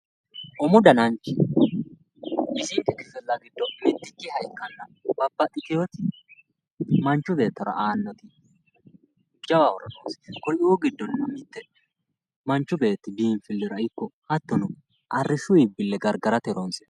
rUmu dananchi bisinke kifilla giddo mitto ikanna qoleno lowo horo noossi isino biinfilehomna arisho garigarrate